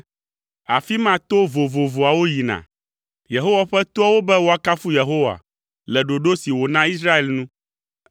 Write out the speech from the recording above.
Afi ma to vovovoawo yina, Yehowa ƒe toawo, be woakafu Yehowa, le ɖoɖo si wòna Israel nu.